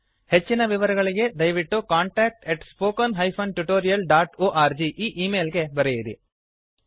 ಹೆಚ್ಚಿನ ವಿವರಗಳಿಗೆ ದಯವಿಟ್ಟು contact at spoken hyphen tutorial dot org e email ಗೆ ಬರೆಯಿರಿ